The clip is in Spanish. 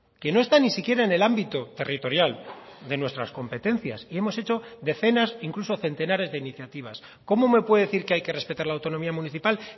que no está ni siquiera en el ámbito territorial de nuestras competencias y hemos hecho decenas incluso centenares de iniciativas cómo me puede decir que hay que respetar la autonomía municipal